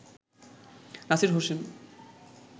Nasir Hossain